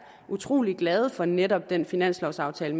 utrolig glade for netop den finanslovsaftale